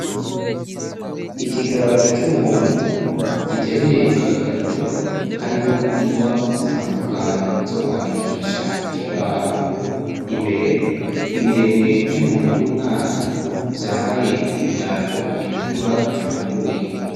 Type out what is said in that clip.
Ikiganza c'umuntu, giteruye aga karito, karimwo ingwa zitandukanye zokwandikisha ku kibaho, imbere ibirenge vy'umuntu w'umwana vyambaye ibirato bitukura bifunguye.